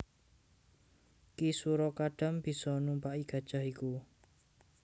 Ki Sura Kadam bisa numpaki gajah iku